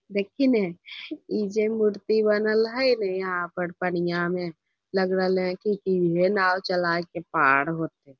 देखी ने इ जे मूर्ति बनल हेय ने यहां पर पनिया में लग रहले हेय की ईहे नाव चले के पार होयते।